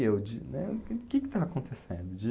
e eu de, né? O que que está acontecendo, de